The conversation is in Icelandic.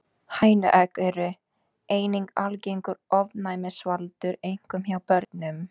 Hænuegg eru einnig algengur ofnæmisvaldur, einkum hjá börnum.